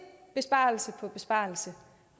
besparelse på besparelse